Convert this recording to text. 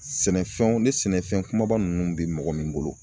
Sɛnɛfɛnw ni sɛnɛfɛn kumaba ninnu be mɔgɔ min bolo